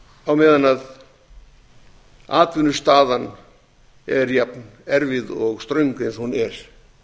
á meðan atvinnustaðan er jafn erfið og ströng eins og hún er